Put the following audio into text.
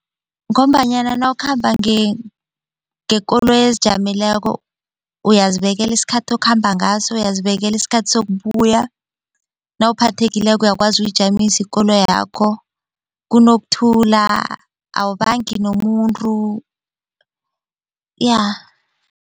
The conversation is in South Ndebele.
Ngombanyana nawukhamba ngekoloyi ezijameleko uyazibekela isikhathi okhamba ngaso, uyazibela isikhathi sokubuya nawuphathekileko uyakwazi ukuyijamisa ikoloyakho kunokuthula awubangi nomuntu ya.